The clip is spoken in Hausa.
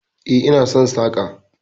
E, ina son saƙa.